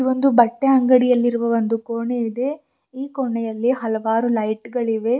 ಒಂದು ಬಟ್ಟೆ ಅಂಗಡಿಯಲ್ಲಿರುವ ಒಂದು ಕೋಣೆ ಇದೆ ಈ ಕೊನೆಯಲ್ಲಿ ಹಲವಾರು ಲೈಟ್ ಗಳಿವೆ.